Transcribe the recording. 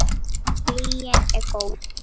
Lygin er góð.